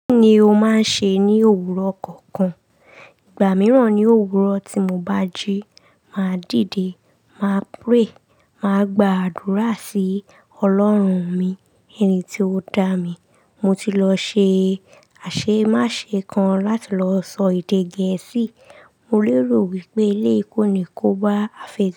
Kí ni o máa ń ṣe ní òwúrọ̀ kọ̀ọ̀kan? Ìgbà mìíràn ni òwúrọ̀ tí mo bá jí, màá dìde, màá pray, màá gba àdúrà sí Ọlọ́run mi, ẹni tí ó dá mi. Mo ti lọ ṣe aṣemáṣe kan láti lọ sọ èdè gẹ̀ẹ́sì. Mo lérò wípé elé yi kóni kó bá à.